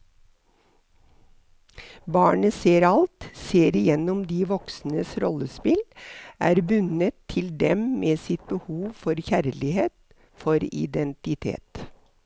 Barnet ser alt, ser igjennom de voksnes rollespill, er bundet til dem med sitt behov for kjærlighet, for identitet.